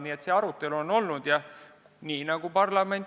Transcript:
Nii et selline arutelu on olnud.